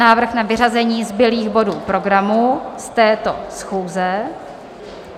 Návrh na vyřazení zbylých bodů programu z této schůze.